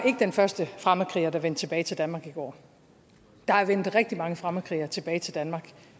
den første fremmedkriger der vendte tilbage til danmark i går der er vendt rigtig mange fremmedkrigere tilbage til danmark